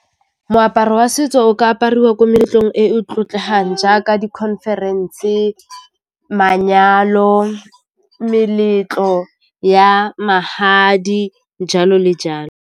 Moaparo wa setso o ka apariwa ko meletlong e e tlotlegang jaaka dikhonferense, manyalo, meletlo ya magadi jalo le jalo.